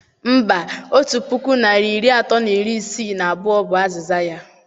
Mba, otu puku narị iri atọ na iri isii na abụọ bu azịza ya